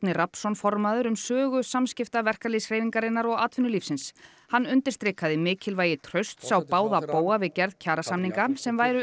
Rafnsson formaður um sögu samskipta verkalýðshreyfingarinnar og atvinnulífsins hann undirstrikaði mikilvægi trausts á báða bóga við gerð kjarasamninga sem væru